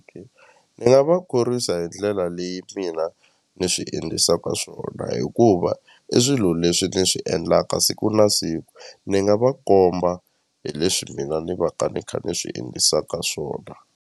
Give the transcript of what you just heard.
Ni nga va khorwisa hi ndlela leyi mina ni swi endlisaka swona hikuva i swilo leswi ni swi endlaka siku na siku ni nga va komba hi leswi mina ni va ka ni kha ni swi endlisaka swona.